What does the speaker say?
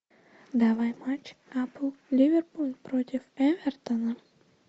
давай матч апл ливерпуль против эвертона